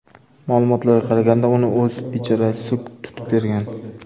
Ma’lumotlarga qaraganda, uni o‘z ijarachisi tutib bergan.